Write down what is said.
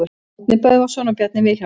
Árni Böðvarsson og Bjarni Vilhjálmsson.